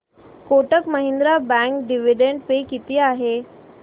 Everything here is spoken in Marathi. Kotak Mahindra bank dividend pay किती आहे